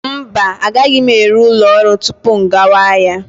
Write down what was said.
Mba, agaghị m eru ụlọ ọrụ tupu m gawa ahịa.